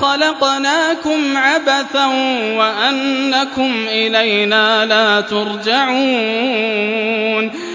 خَلَقْنَاكُمْ عَبَثًا وَأَنَّكُمْ إِلَيْنَا لَا تُرْجَعُونَ